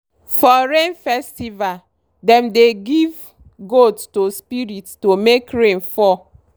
for rain festival dem dey give goat to spirit to make rain fall.